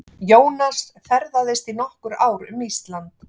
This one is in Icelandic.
Jónas ferðaðist í nokkur ár um Ísland.